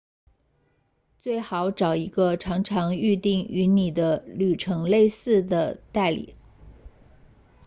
最好找一个常常预订与你的旅程类似的代理